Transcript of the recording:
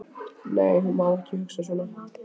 Nei, hún má ekki hugsa svona.